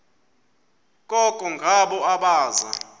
koko ngabo abaza